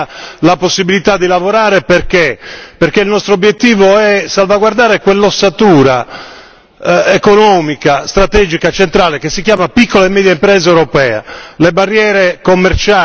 Voglio sperare invece che ci sia la possibilità di lavorare, perché il nostro obiettivo è salvaguardare quell'ossatura economica, strategica e centrale che si chiama piccola e media impresa europea.